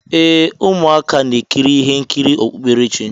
ee, ụmụaka na-ekiri ihe nkiri okpukperechi.